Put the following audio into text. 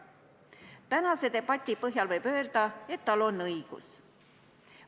Tänase debati põhjal võib öelda, et tal on õigus.